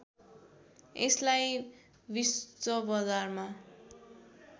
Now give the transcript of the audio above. यसलाई विश्व बजारमा